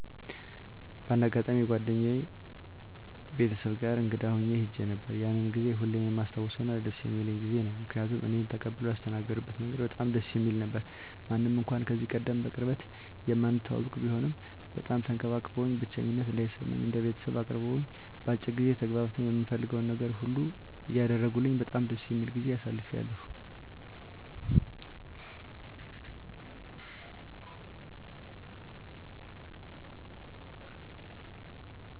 በአንድ አጋጣሚ የጓደኛየ ቤተሰቦች ጋር እንግዳ ሁኜ ሄጄ ነበር። ያንን ጊዜ ሁሌም የማስታውሰውና ደስ የሚለኝ ጊዜ ነው። ምክንያቱም እኔን ተቀብለው ያስተናገድበት መንገድ በጣም ደስ የሚል ነበረ። ምንም እንኳን ከዚህቀደም በቅርበት የማንተዋወቅ ቢሆንም በጣም ተንከባክበውኝ፣ ብቸኝነት እንዳይሰማኝ እንደ ቤተሰብ አቅርበውኝ፣ በአጭር ጊዜ ተግባብተን የምፈልገውን ነገር ሁሉ እያደረጉልኝ በጣም ደስ የሚል ጊዜ አሳልፌያለሁ።